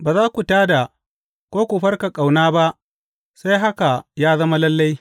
Ba za ku tā da ko ku farka ƙauna ba sai haka ya zama lalle.